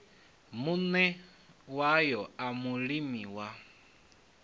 muṋe wayo a mulimi wa